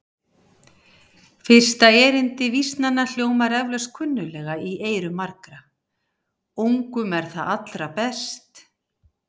Fyrsta erindi vísnanna hljómar eflaust kunnuglega í eyrum margra: Ungum er það allra best